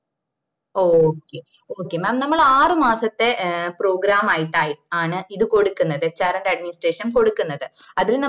okay okay mam നമ്മള് ആറ് മാസത്തെ program ആയിട്ടാണ്‌ ഇത് കൊടുക്കുന്നത് hrand administration കൊടുക്കന്നത് അതില്